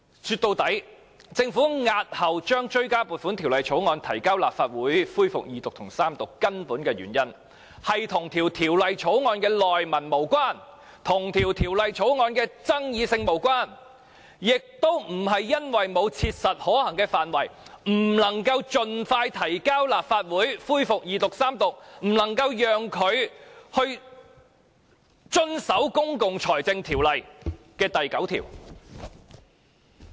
說到底，政府押後將追加撥款條例草案提交立法會恢復二讀及三讀，根本的原因是與條例草案的內文無關，與條例草案的爭議性無關，亦不是因為沒有切實可行的範圍，因而不能夠盡快提交立法會恢復二讀及三讀，令政府不能遵守《公共財政條例》第9條。